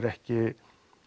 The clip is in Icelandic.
ekki